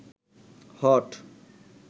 hot